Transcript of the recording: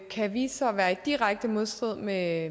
kan vise sig at være i direkte modstrid med